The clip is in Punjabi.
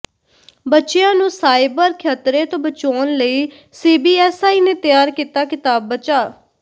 ਬੱਚਿਆਂ ਨੂੰ ਸਾਈਬਰ ਖ਼ਤਰੇ ਤੋਂ ਬਚਾਉਣ ਲਈ ਸੀਬੀਐਸਈ ਨੇ ਤਿਆਰ ਕੀਤਾ ਕਿਤਾਬਚਾ